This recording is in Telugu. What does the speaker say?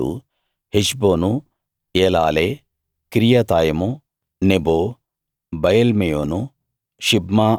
రూబేనీయులు Heshbon Elealeh Kiriathaim Nebo Baalmeon